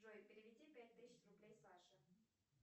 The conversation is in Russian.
джой переведи пять тысяч рублей саше